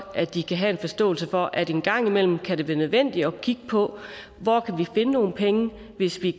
at de har forståelse for at en gang imellem kan det blive nødvendigt at kigge på hvor kan vi finde nogle penge hvis vi